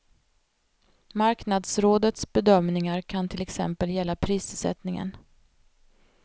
Marknadsrådets bedömningar kan till exempel gälla prissättningen.